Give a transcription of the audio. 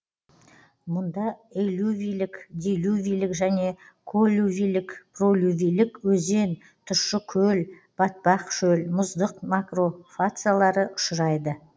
мұнда элювийлік делювийлік және коллювийлік пролювийлік өзен тұщы көл батпақ шөл мұздық макрофациялары ұшырайды